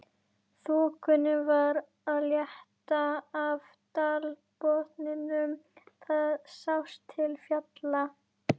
Þokunni var að létta af dalbotninum, það sást til fjalla.